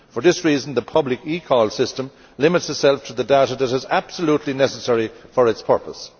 For this reason the public eCall system limits itself to the data that is absolutely necessary for its purpose.